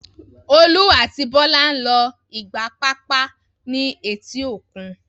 Olú àti Bọ́lá ń lo ìgbà papọ̀ ní etí òkun.